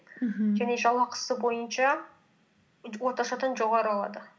мхм және жалақысы бойынша орташадан жоғары алады